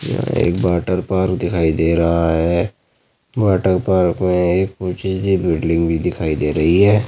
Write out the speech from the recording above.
एक water park दिखाई दे रहा है। वोटर पार्क में एक ऊंची सी बिल्डिंग भी दिखाई दे रही है।